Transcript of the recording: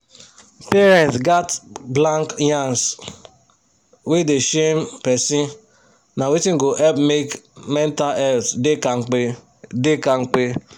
parents gats blank yans wey dey shame person na wetin go help make mental health da kampe da kampe